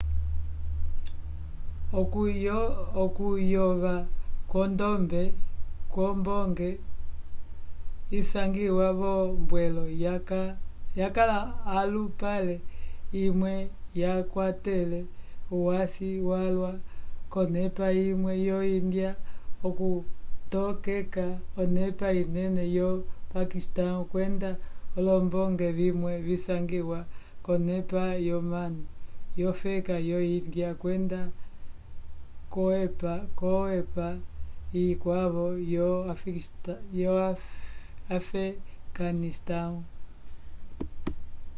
okuyova kwombonge isangiwa v'ombwelo yakala olupale imwe yakwatele uhwasi walwa k'onepa imwe yo-índia okutokeka onepa inene yo-paquistão kwenda olombonge vimwe visangiwa k'onepa yonano yofeka yo-índia kwenda k'oepa ikwavo yo-afeganistão